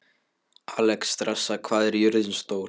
Alexstrasa, hvað er jörðin stór?